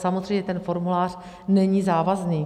Samozřejmě, ten formulář není závazný.